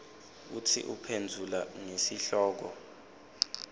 kutsi uphendvula ngesihloko